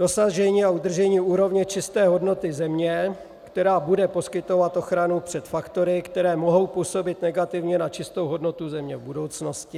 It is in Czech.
Dosažení a udržení úrovně čisté hodnoty země, která bude poskytovat ochranu před faktory, které mohou působit negativně na čistou hodnotu země v budoucnosti.